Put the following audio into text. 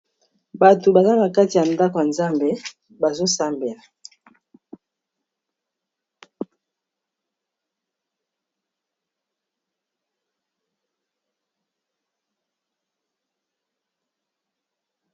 Batu baza na kati ya ndako ya nzambe bazo sambela.